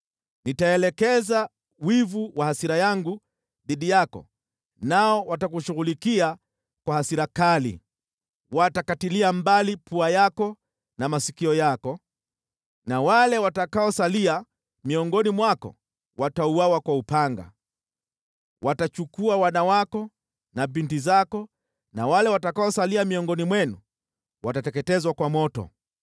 Nitaelekeza wivu wa hasira yangu dhidi yako, nao watakushughulikia kwa hasira kali. Watakatilia mbali pua yako na masikio yako, na wale watakaosalia miongoni mwako watauawa kwa upanga. Watachukua wana wako na binti zako, na wale watakaosalia miongoni mwenu watateketezwa kwa moto.